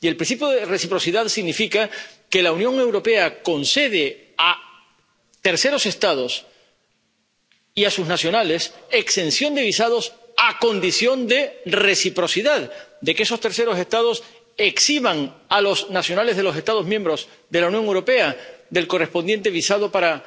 Y el principio de reciprocidad significa que la Unión Europea concede a terceros Estados y a sus nacionales exención de visados a condición de reciprocidad, de que esos terceros Estados eximan a los nacionales de los Estados miembros de la Unión Europea del correspondiente visado para